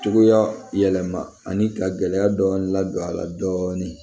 Cogoya yɛlɛma ani ka gɛlɛya dɔɔnin ladon a la dɔɔni